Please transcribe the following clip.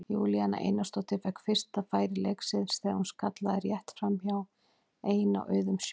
Júlíana Einarsdóttir fékk fyrsta færi leiksins þegar hún skallaði rétt framhjá ein á auðum sjó.